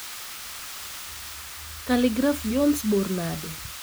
kaligraf jones bor nade